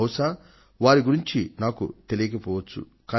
బహుశా వారి గురించి నాకు తెలియకపోవచ్చు